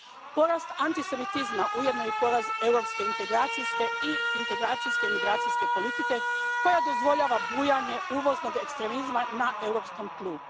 Porast antisemitizma ujedno je i poraz europske integracijske i integracijsko migracijske politike koja dozvoljava bujanje uvoznog ekstremizma na europskom tlu.